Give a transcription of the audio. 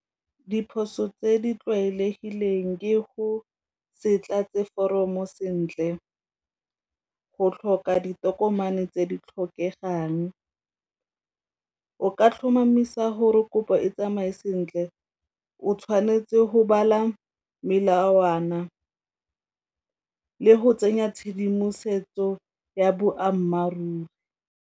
Diphoso tse di tlwaelegileng ke go se tlatse foromo sentle, go tlhoka ditokomane tse di tlhokegang. O ka tlhomamisa gore kopo e tsamaye sentle o tshwanetse go bala melawana le go tsenya tshedimosetso ya boammaaruri.